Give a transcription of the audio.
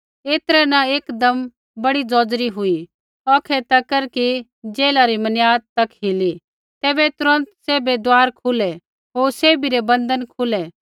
ऐतरै न एकदम बड़ी ज़ौज़री हुई औखै तक कि बन्दी घौरै री मनियाद तक हिली तैबै तुरन्त सैभै दुआर खुलै होर सैभी रै बन्धन खुलै